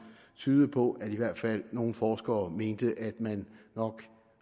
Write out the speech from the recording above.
tydede på at i hvert fald nogle forskere mente at man nok